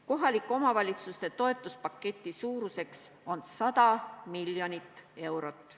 Kohalike omavalitsuste toetuse paketi suurus on 100 miljonit eurot.